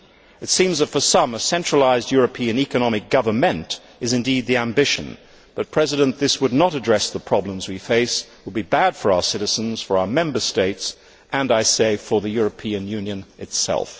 It seems that, for some, a centralised European economic government' is indeed the ambition, but this would not address the problems we face it would be bad for our citizens, for our Member States and, I say, for the European Union itself.